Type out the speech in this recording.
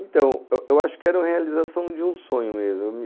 Então, eu acho que era a realização de um sonho mesmo.